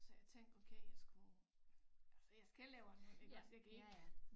Så jeg tænkte okay jeg skulle altså jeg skal laver noget iggås jeg kan ikke